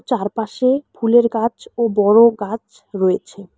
চারপাশে ফুলের গাছ ও বড়ো গাছ রয়েছে।